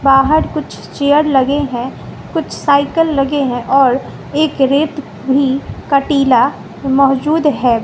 बाहर कुछ चेयर लगे हैं कुछ साइकल लगे हैं और एक रेत भी का टीला मौजूद है।